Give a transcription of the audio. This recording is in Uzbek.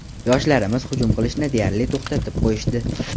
Yoshlarimiz hujum qilishni deyarli to‘xtatib qo‘yishdi.